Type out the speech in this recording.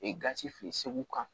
gasi fe yen segu kan